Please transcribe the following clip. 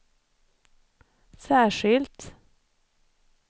särskilt